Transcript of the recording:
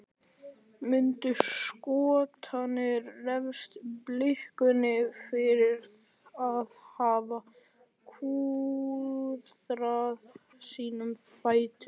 Munu Skotarnir refsa Blikunum fyrir að hafa klúðrað sínum færum?